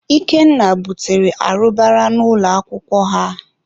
Ikenna butere arụbara n'ụlọ akwụkwọ ha.